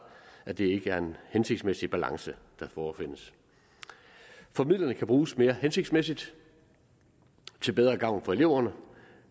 at det ikke er en hensigtsmæssig balance der forefindes for midlerne kan bruges mere hensigtsmæssigt til bedre gavn for eleverne